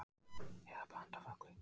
Eða blanda af öllu